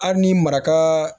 Hali ni maraka